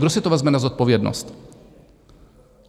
Kdo si to vezme na zodpovědnost?